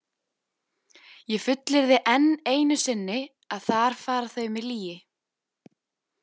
Ég fullyrði enn einu sinni að þar fara þau með lýgi.